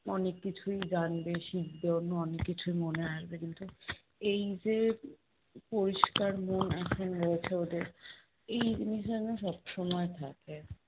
অনেক কিছুই জানবে শিখবে, অন্য অনেক কিছুই মনে আসবে কিন্তু এই যে পরিষ্কার মন এখন রয়েছে ওদের এই জিনিসটা যেন সবসময় থাকে।